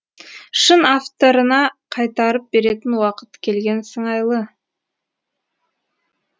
шын авторына қайтарып беретін уақыт келген сыңайлы